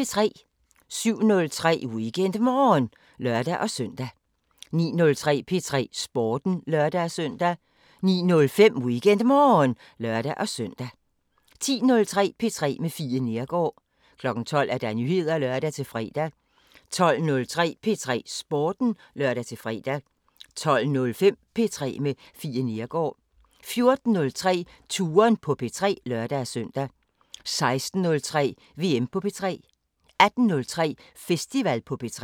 07:03: WeekendMorgen (lør-søn) 09:03: P3 Sporten (lør-søn) 09:05: WeekendMorgen (lør-søn) 10:03: P3 med Fie Neergaard 12:00: Nyheder (lør-fre) 12:03: P3 Sporten (lør-fre) 12:05: P3 med Fie Neergaard 14:03: Touren på P3 (lør-søn) 16:03: VM på P3 18:03: Festival på P3